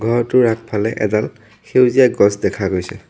ঘৰটোৰ আগফালে এডাল সেউজীয়া গছ দেখা গৈছে।